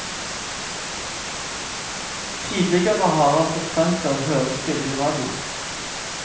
Tidligere har han fått fremført hørespill i radio.